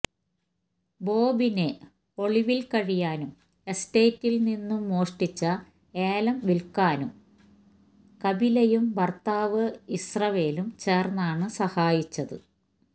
ബോബിനെ ഒളിവില് കഴിയാനും എസ്റ്റേറ്റില് നിന്നും മോഷ്ടിച്ച ഏലം വില്ക്കാനും കപിലയും ഭര്ത്താവ് ഇസ്രവേലും ചേര്ന്നാണ് സഹായിച്ചത്